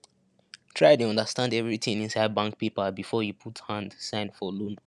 try dey understand everything inside bank paper before you put hand sign for loan